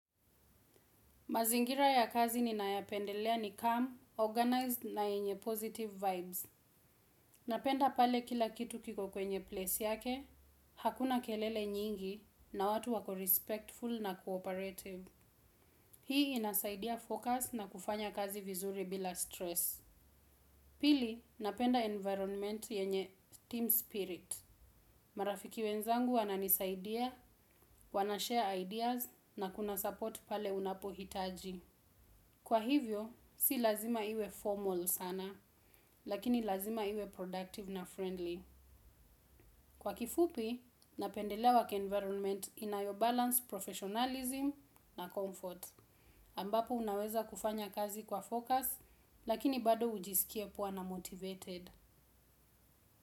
Mazingira ya kazi ninayopendelea ni calm, organized na yenye positive vibes. Napenda pale kila kitu kiko kwenye place yake, hakuna kelele nyingi na watu wako respectful na cooperative. Hii inasaidia focus na kufanya kazi vizuri bila stress. Pili, napenda environment yenye team spirit. Marafiki wenzangu wana nisaidia, wana share ideas na kuna support pale unapo hitaji. Kwa hivyo, si lazima iwe formal sana, lakini lazima iwe productive na friendly. Kwa kifupi, napendelea work environment inayo balance, professionalism na comfort. Ambapo unaweza kufanya kazi kwa focus, lakini bado ujisikie poa na motivated.